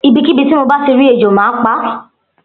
Ibikibi ti mo bati ri ejò má pa.